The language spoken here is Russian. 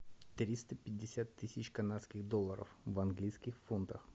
триста пятьдесят тысяч канадских долларов в английских фунтах